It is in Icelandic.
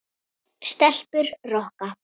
Stelpur rokka!